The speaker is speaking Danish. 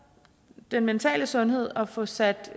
den mentale sundhed og få sat